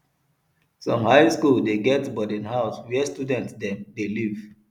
some high skool dey get boarding house where student dem dey live